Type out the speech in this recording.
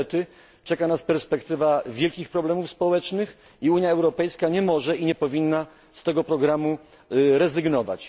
Niestety czeka nas perspektywa wielkich problemów społecznych i Unia Europejska nie może i nie powinna z tego programu rezygnować.